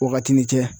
Wagati ni cɛ